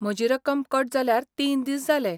म्हजी रक्कम कट जाल्यार तीन दीस जाले.